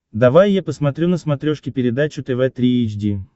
давай я посмотрю на смотрешке передачу тв три эйч ди